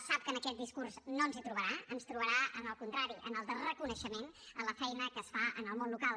sap que en aquest discurs no ens hi trobarà ens trobarà en el contrari en el de reconeixement a la feina que es fa en el món local